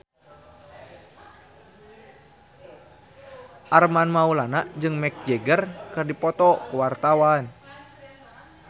Armand Maulana jeung Mick Jagger keur dipoto ku wartawan